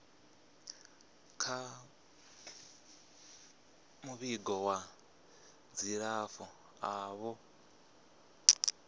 kha muvhigo wa dzilafho avho